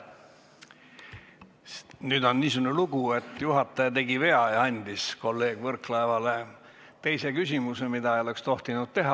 Nüüd on niisugune lugu, et juhataja tegi vea ja andis kolleeg Võrklaevale teise küsimuse, mida ei oleks tohtinud teha ...